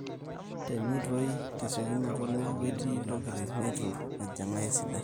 teneitoi tesiokinoto neeku etii ntokitin neitu ejing'aa esidai